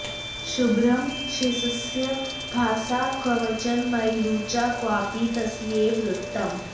शुभ्रं शेषस्य भासा क्वचन मणिरुचा क्वापि तस्यैव रक्तम्